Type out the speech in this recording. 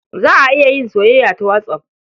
Za a iya yin soyayya ta whatsApp.